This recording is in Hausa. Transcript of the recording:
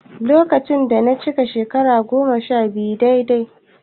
Lokacin da na cika shekara goma-sha-biyu daidai